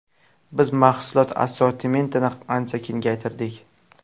Biz mahsulot assortimentini ancha kengaytirdik.